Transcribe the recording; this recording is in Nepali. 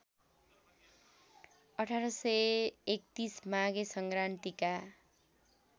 १८३१ माघे सङ्क्रान्तिका